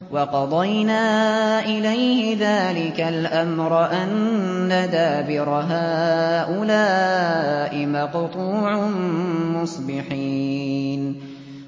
وَقَضَيْنَا إِلَيْهِ ذَٰلِكَ الْأَمْرَ أَنَّ دَابِرَ هَٰؤُلَاءِ مَقْطُوعٌ مُّصْبِحِينَ